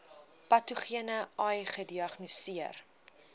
patogene ai gediagnoseer